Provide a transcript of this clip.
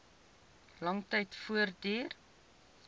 lang tyd voortduur